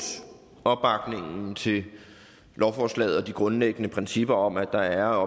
opbakningen til lovforslaget og de grundlæggende principper om at der er